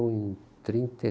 em trinta